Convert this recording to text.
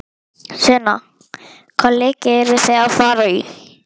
Sunna: Hvaða leiki eruð þið að fara í?